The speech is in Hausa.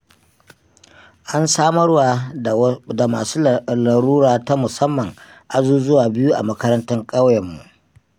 An samarwa da masu larura ta musamman azuzuwa biyu a makarantar ƙauyenmu.